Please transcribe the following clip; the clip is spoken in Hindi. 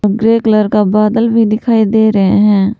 ग्रे कलर का बादल भी दिखाई दे रहे हैं।